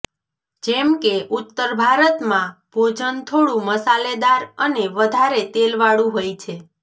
જેમ કે ઉત્તર ભારતમાં ભોજન થોડુ મસાલેદાર અને વધારે તેલ વાળુ હોય છે